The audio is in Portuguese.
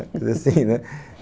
Fiz assim, né?